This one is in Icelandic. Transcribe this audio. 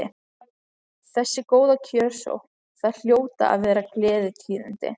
Þessi góða kjörsókn, það hljóta að vera gleðitíðindi?